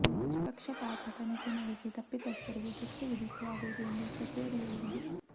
ನಿಷ್ಪಕ್ಷಪಾತ ತನಿಖೆ ನಡೆಸಿ ತಪ್ಪಿತಸ್ಥರಿಗೆ ಶಿಕ್ಷೆ ವಿಧಿಸಲಾಗುವುದು ಎಂದು ಸಚಿವರು ಹೇಳಿದರು